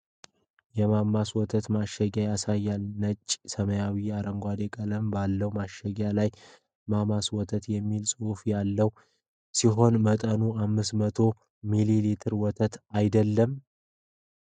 የማማስ ወተት ማሸጊያን ያሳያል፤ ነጭ፣ ሰማያዊና አረንጓዴ ቀለም ባለው ማሸጊያ ላይ "ማማስ ወተት" የሚል ጽሑፍ ያለው ሲሆን፣ መጠኑ 500 ሚሊ ሊትር ወተት አይደለም?